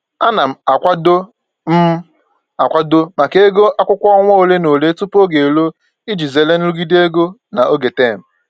Ana m akwado m akwado maka ego akwụkwọ ọnwa ole na ole tupu oge eruo iji zere nrụgide ego na oge tem